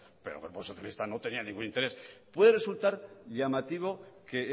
pero el grupo socialista no tenía ningún interés puede resultar llamativo que